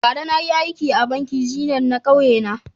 Bara na yi aiki a bankin zenith na ƙauye na.